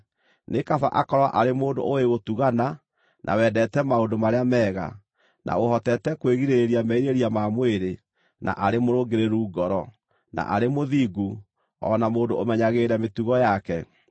Nĩ kaba akorwo arĩ mũndũ ũũĩ gũtugana, na wendete maũndũ marĩa mega, na ũhotete kwĩgirĩrĩria merirĩria ma mwĩrĩ, na arĩ mũrũngĩrĩru ngoro, na arĩ mũthingu, o na mũndũ ũmenyagĩrĩra mĩtugo yake.